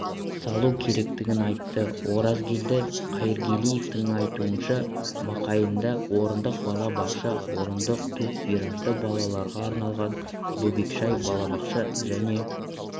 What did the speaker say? салу керектігін айтты оразгелді қайыргелдиновтің айтуынша майқайыңда орындық балабақша орындық тубвиражды балаларға арналған бөбекжай-балабақша және